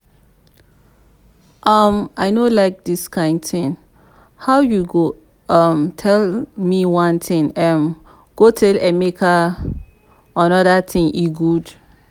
um i no like dis kyn thing. how you go um tell me one thing um go tell emeka another thing e good?